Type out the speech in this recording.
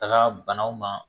Taga banaw ma